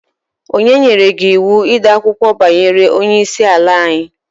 Onye nyere gị iwu ịde akụkọ banyere Onye isi ala anyi?